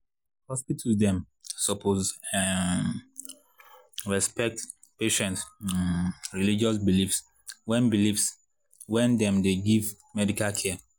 hospitals dem suppose[um][um] respect patients’ um religious beliefs wen beliefs wen dem dey give medical care.